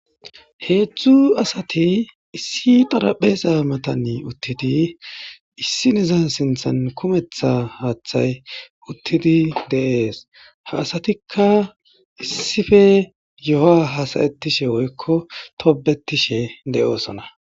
Heedzdzu asati issi xarapeza matani uttidi issinizan sinthan kumetha haaththay uttidi deees ha asatikka issife yo7a hasayetishe woykko tobetishe de7oosona.